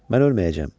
Mən ölməyəcəm.